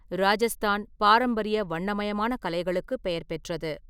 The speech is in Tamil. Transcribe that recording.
ராஜஸ்தான் பாரம்பரிய, வண்ணமயமான கலைகளுக்குப் பெயர்பெற்றது.